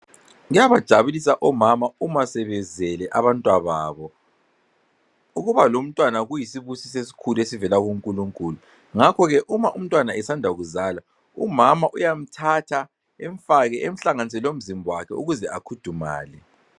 Kuyabajabulisa omama uma sebezele abantwababo. Ukuba lomntwana kuyisibusiso esikhulu esivele kuNkulunkulu. Ngakho ke uma umntwana esanda kuzala, umama uyamthatha emhlanganise lomzimba wakhe ukuze akhudumale